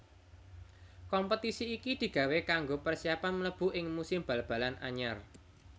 Kompetisi iki digawé kanggo persiapan mlebu ing musim bal balan anyar